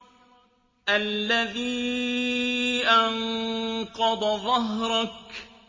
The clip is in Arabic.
الَّذِي أَنقَضَ ظَهْرَكَ